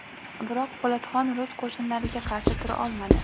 Biroq Po‘latxon rus qo‘shinlariga qarshi tura olmadi.